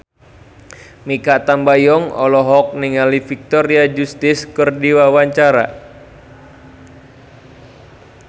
Mikha Tambayong olohok ningali Victoria Justice keur diwawancara